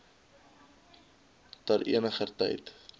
ter eniger tyd